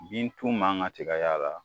Bintu man ka se ka y'a la